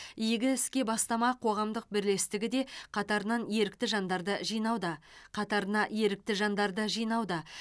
игі іске бастама қоғамдық бірлестігі де қатарынан ерікті жандарды жинауда қатарына ерікті жандарды жинауда